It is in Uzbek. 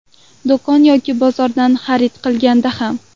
Do‘kon yoki bozordan xarid qilganda ham.